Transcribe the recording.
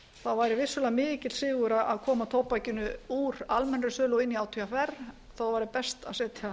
þá væri vissulega mikill sigur að koma tóbakinu úr almennri eru og inn í átvr það væri best að setja